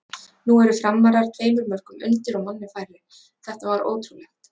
Nú eru Framarar tveimur mörkum undir og manni færri, þetta var ótrúlegt!!